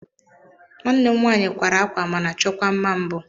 Nwanne m nwaanyị kwara ákwà mana chọkwa mma mbụ.